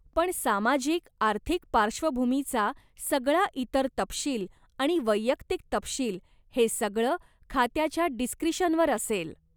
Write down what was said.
पण सामाजिक आर्थिक पार्श्वभूमीचा सगळा इतर तपशील आणि वैयक्तिक तपशील हे सगळं खात्याच्या डिस्क्रिशनवर असेल.